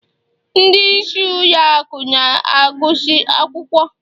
ndị isi ụlọ akụ na-agụsị akwụkwọ